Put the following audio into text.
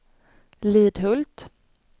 Lidhult